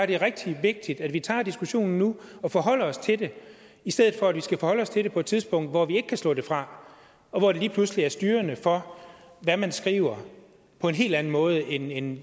det er rigtig vigtigt at vi tager diskussionen nu og forholder os til det i stedet for at vi skal forholde os til det på et tidspunkt hvor vi kan ikke kan slå det fra og hvor det lige pludselig er styrende for hvad man skriver på en helt anden måde end